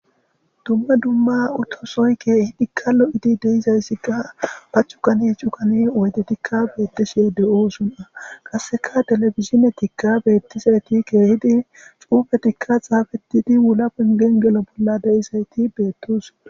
dumma dumma utto sohoy ke'ihidi lo'oidi deizayssikka ba cuggan cuggani oydetikka bettishshe de'oona qassekka telebidzdzinetikka beettisayti ke'ihidi xuufetikka xaafettidi wulla pengen gello bolla de'isaytti betossona